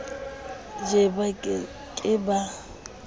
je ba ke ke ba